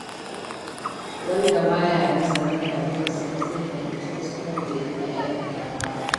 Wanda ba ya nazarin rayuwarsa ba zai fahimci kuskuren da yake aikatawa ba.